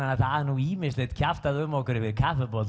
það er nú ýmislegt kjaftað um okkur yfir